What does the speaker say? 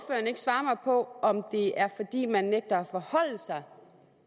på om det er fordi man nægter at forholde sig